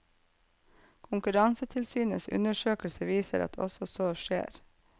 Konkurransetilsynets undersøkelse viser at så også skjer.